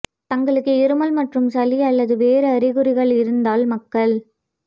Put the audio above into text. தங்களுக்கு இருமல் மற்றும் சளி அல்லது வேறு அறிகுறிகள் இருந்தால் மக்கள்